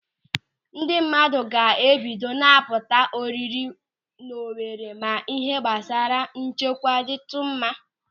Ndị mmadụ ga-ebido na-apụta ọrịrị n'Owere ma ịhe gbasara nchekwa dịtụ mma.